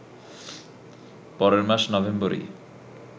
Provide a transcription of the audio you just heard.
পরের মাস নভেম্বরেই